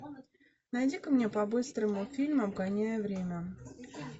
найди ка мне по быстрому фильм обгоняя время